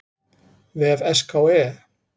vef SKE.